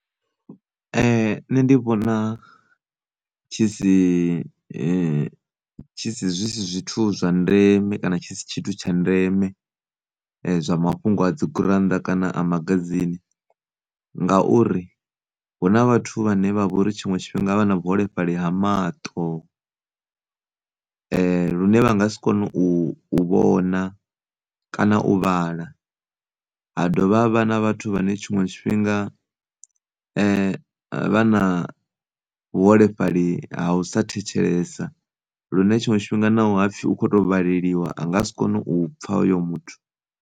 Nṋe ndi vhona tshi si tshi si, zwithu zwa ndeme kana tshi si tshithu tsha ndeme zwa mafhungo a dzigurannḓa kana a magazini, ngauri hu na vhathu vhane vha vhori tshiṅwe tshifhinga vha na muholefhali ha maṱo lune vha nga si kone u, u, u vhona kana u vhala. Ha dovha havha na vhathu vhane tshiṅwe tshifhinga vha na vhuholefhali ha u sa thetshelesa lune tshiṅwe tshifhinga naho hapfhi hu khoto vhaleliwa a nga si kone u pfha hoyo muthu.